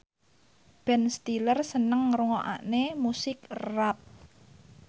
Ben Stiller seneng ngrungokne musik rap